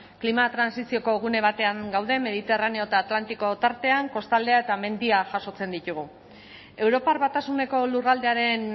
klima trantsizioko gune batean gaude mediterraneo eta atlantikoa tartean kostaldea eta mendia jasotzen ditugu europar batasuneko lurraldearen